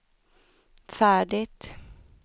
färdigt